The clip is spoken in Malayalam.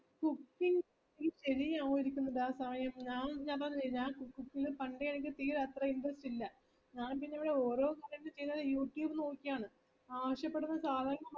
cooking ഞാൻപറഞ്ഞീല്ലേ ഞാൻ cooking ലെ എനിക്ക് പണ്ടേ എനക്ക് തീരെ അത്ര interest ഇല്ല ഞാൻ പിന്ന ഇവിട ഓരോപറയുന്നെച് youtube നോക്കിയാണ്